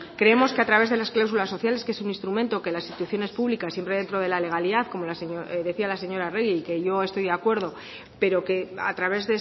creemos que a través de las cláusulas sociales que es un instrumento que las instituciones públicas que siempre dentro de la legalidad como decía la señora arregi y que yo estoy de acuerdo pero que a través